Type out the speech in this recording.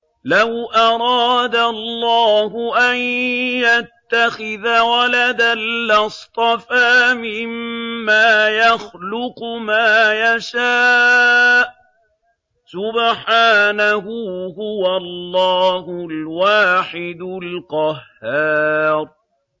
لَّوْ أَرَادَ اللَّهُ أَن يَتَّخِذَ وَلَدًا لَّاصْطَفَىٰ مِمَّا يَخْلُقُ مَا يَشَاءُ ۚ سُبْحَانَهُ ۖ هُوَ اللَّهُ الْوَاحِدُ الْقَهَّارُ